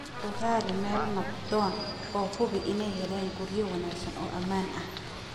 U rari meelo nabdoon oo hubi inay helaan guryo wanaagsan oo ammaan ah.